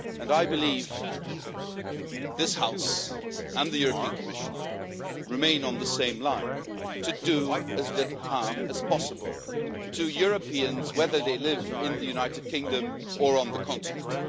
I believe that this House and the Commission remain on the same line seeking to do as little harm as possible to Europeans, whether they live in the United Kingdom or on the continent.